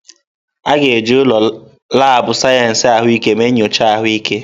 A ga-eji ụlọ laabụ̀ sayensị ahụike mee nyocha ahụike.